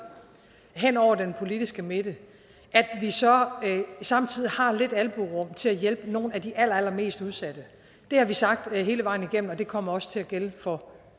hen over den politiske midte så har vi samtidig lidt albuerum til at hjælpe nogle af de allerallermest udsatte det har vi sagt hele vejen igennem og det kommer også til at gælde for